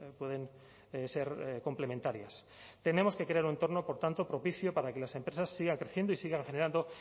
pueden ser complementarias tenemos que crear un entorno por tanto propicio para que las empresas sigan creciendo y sigan generando